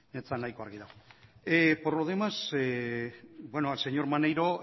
ez zen nahiko argi dago por lo demás bueno al señor maneiro